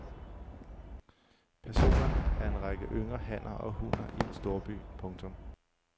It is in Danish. Personerne er en række yngre hanner og hunner i en storby. punktum